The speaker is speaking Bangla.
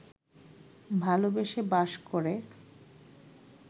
ভালোবেসে বাস করে